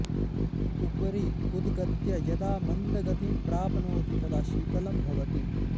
उपरि उद्गत्य यदा मन्दगतिं प्राप्नोति तदा शीतलं भवति